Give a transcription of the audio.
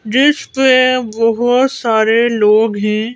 जिस पे बहुत सारे लोग हैं।